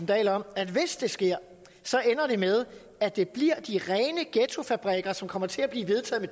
dahl om at hvis det sker ender det med at det bliver de rene ghettofabrikker som kommer til at blive vedtaget